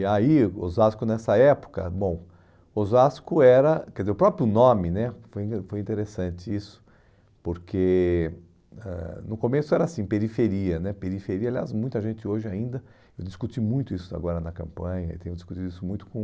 E aí, Osasco nessa época, bom, Osasco era, quer dizer, o próprio nome né, foi foi interessante isso, porque ãh no começo era assim, periferia né, periferia, aliás, muita gente hoje ainda, eu discuti muito isso agora na campanha, que eu discuti isso muito com